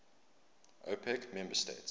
opec member states